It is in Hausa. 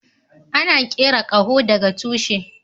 Ana kera kaho da ga tushi.